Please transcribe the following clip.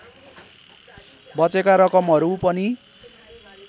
बचेका रकमहरू पनि